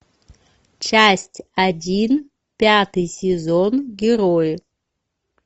часть один пятый сезон герои